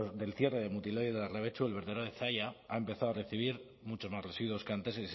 del cierre de mutiloa y larrabetzu el vertedero de zalla ha empezado a recibir muchos más residuos que antes